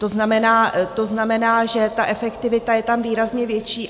To znamená, že ta efektivita je tam výrazně větší.